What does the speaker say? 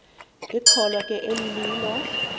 ikholwa ke elililo